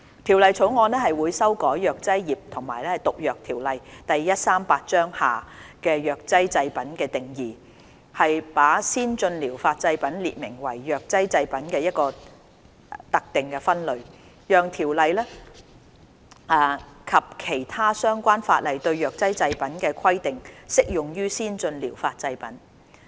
《條例草案》會修改《藥劑業及毒藥條例》下藥劑製品的定義，把先進療法製品列明為藥劑製品的一個特定分類，讓條例及其他相關法例對藥劑製品的規定適用於先進療法製品。